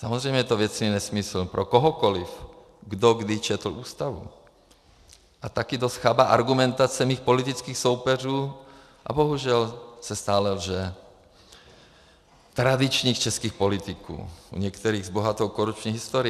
Samozřejmě je to věcný nesmysl pro kohokoliv, kdo kdy četl Ústavu, a také dost chabá argumentace mých politických soupeřů, a bohužel se stále lže, tradičních českých politiků, u některých s bohatou korupční historií.